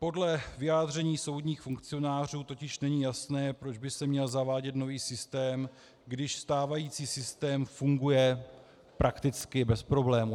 Podle vyjádření soudních funkcionářů totiž není jasné, proč by se měl zavádět nový systém, když stávající systém funguje prakticky bez problémů.